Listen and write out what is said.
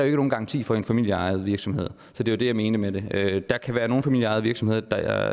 ikke nogen garanti for i en familieejet virksomhed så det var det jeg mente med det der kan være nogle familieejede virksomheder der